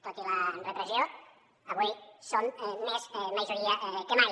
tot i la repressió avui som més majoria que mai